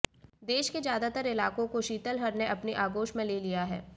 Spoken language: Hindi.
देश के ज्यादातर इलाकों को शीतलहर ने अपनी आगोश में ले लिया है